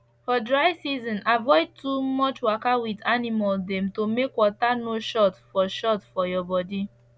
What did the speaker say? for dry season try avoid too much waka wit animals dem to make water no short for short for your body